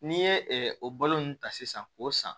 N'i ye o balo ninnu ta sisan k'o san